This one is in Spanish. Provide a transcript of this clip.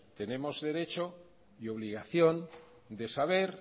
tenemos derecho y obligación de saber